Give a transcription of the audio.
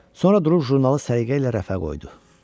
Sonra durub jurnalı səliqə ilə rəfə qoydu.